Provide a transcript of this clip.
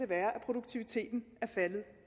være produktiviteten er faldet